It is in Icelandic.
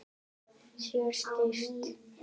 Sér skýrt.